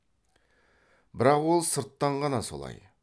бірақ ол сырттан ғана солай